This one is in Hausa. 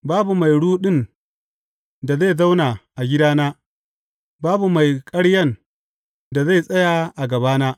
Babu mai ruɗun da zai zauna a gidana; babu mai ƙaryan da zai tsaya a gabana.